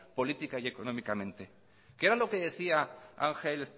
política y económicamente qué era lo que decía ángel